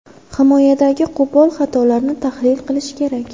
Himoyadagi qo‘pol xatolarni tahlil qilish kerak.